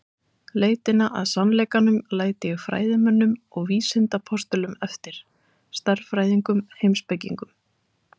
Leitina að sannleikanum læt ég fræðimönnum og vísindapostulum eftir: stærðfræðingum, heimspekingum.